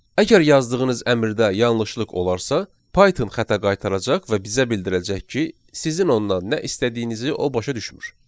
Əgər yazdığınız əmrdə yanlışlıq olarsa, Python xəta qaytaracaq və bizə bildirəcək ki, sizin ondan nə istədiyinizi o başa düşmür.